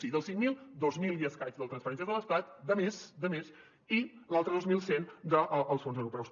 o sigui dels cinc mil dos mil i escaig de transferències de l’estat de més de més i els altres dos mil cent dels fons europeus